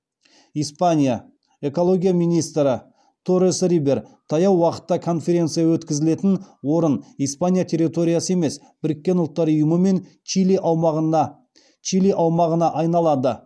испания экология министрі терес рибер таяу уақытта конференция өткізілетін орын испания территориясы емес біріккен ұлттар ұйымымен мен чили аумағына айналады